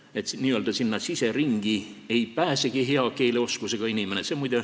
Sinna n-ö siseringi ei pääsegi hea keeleoskusega inimene.